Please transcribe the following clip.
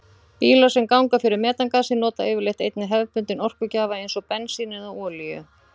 Bílar sem ganga fyrir metangasi nota yfirleitt einnig hefðbundinn orkugjafa eins og bensín eða olíu.